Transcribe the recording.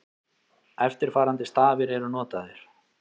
Eftirfarandi stafir eru notaðir: